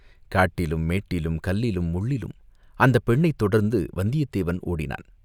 காட்டிலும் மேட்டிலும், கல்லிலும் முள்ளிலும் அந்தப் பெண்ணைத் தொடர்ந்து வந்தியத்தேவன் ஓடினான்.